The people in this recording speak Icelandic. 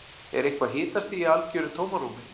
Er eitthvað hitastig í algjöru tómarúmi?